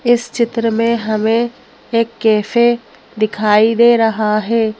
इस चित्र में हमें एक कैफे दिखाई दे रहा है।